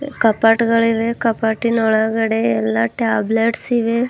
ಕಪಟಗಳಿವೆ ಕಪಟಿನ ಒಳಗಡೆ ಎಲ್ಲ ಟ್ಯಾಬ್ಲೇಟ್ಸ್ ಇವೆ.